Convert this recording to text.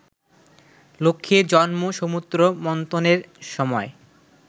লক্ষ্মীর জন্ম সমুদ্র মন্থনের সময়